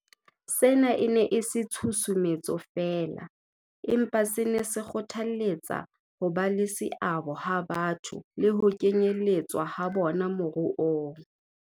Sena e ne e se tshusumetso feela, empa se ne se kgothalletsa hoba le seabo ha batho le ho kenyeletswa ha bona moruong.